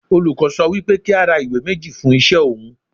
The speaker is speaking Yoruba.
Olùkọ́ sọ wí pé kí á ra ìwé méjì fún iṣẹ́ òun.